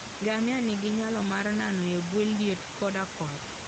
Ngamia nigi nyalo mar nano e bwo liet koda koth.